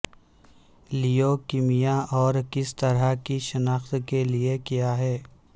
leukaemia اور کس طرح کی شناخت کے لئے کیا ہے